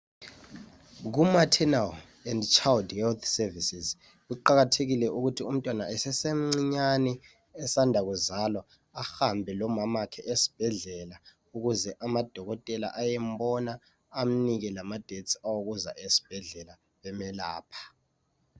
Ku Maternal and Child Health Services kuqakathekile ukuthi umntwana esesemncinyane esanda kuzalwa ahambe lomamakhe esibhedlela ukuze amadokotela ayembona ukuze amnike lama dates awokuza esibhedlela emelapha